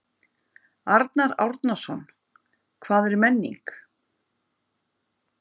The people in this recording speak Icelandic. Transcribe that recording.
Arnar Árnason: Hvað er menning?